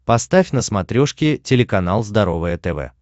поставь на смотрешке телеканал здоровое тв